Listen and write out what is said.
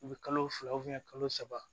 U bɛ kalo fila kalo saba